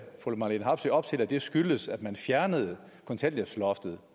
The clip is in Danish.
fru marlene harpsøe op til at det skyldes at man fjernede kontanthjælpsloftet